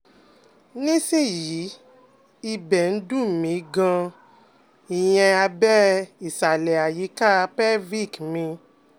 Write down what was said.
Ní sìn yìí ibẹ̀ ń dùn mí gan-an ìyẹn abẹ́ ìsàlẹ̀ àyíká pelvic mi